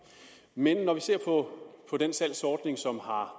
men når vi ser på den salgsordning som har